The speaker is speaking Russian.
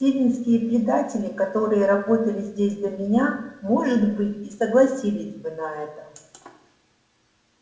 сивеннские предатели которые работали здесь до меня может быть и согласились бы на это